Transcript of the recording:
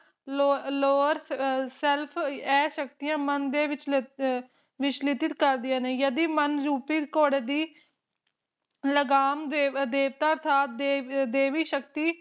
Lo Lowerself ਏ ਸ਼ਕਤੀਆਂ ਮਨ ਦੇ ਵਿਸ਼੍ਲੇ ਅ ਵਿਚਲੀਜੀਤ ਕਰਦਿਆਂ ਨੇ ਯਾਦੀ ਮਨ ਉਕਿਤ ਘੋੜ ਦੀ ਲਗਾਮ ਦੇਵਤਾ ਸਾਹਿਬ ਦੇਵ ਦੇਵੀ ਸ਼ਕਤੀ